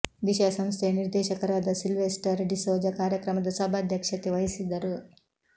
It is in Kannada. ದಿಶಾ ಸಂಸ್ಥೆಯ ನಿರ್ದೇಶಕರಾದ ಸಿಲ್ವೆಸ್ಟರ್ ಡಿ ಸೋಜ ಕಾರ್ಯಕ್ರಮದ ಸಭಾಧ್ಯಕ್ಷತೆ ವಹಿಸಿದ್ದರು